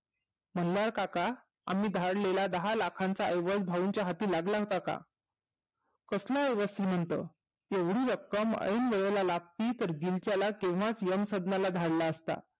मल्हार काका आम्ही धाडलेल्या दहा लाखाचा अवलं भाऊंच्या हाती लागला होता का कसला वस्त्र मिंट येवडी रक्कम ऐन वेळेला लागती तर जिक्याला तेव्हाच यमसज्ञाला धाडला असता